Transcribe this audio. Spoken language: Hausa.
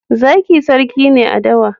Zaki sarki ne a dawa.